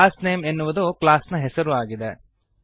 class name ಎನ್ನುವುದು class ನ ಹೆಸರು ಆಗಿದೆ